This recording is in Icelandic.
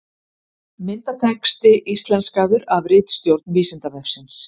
Myndatexti íslenskaður af ritstjórn Vísindavefsins.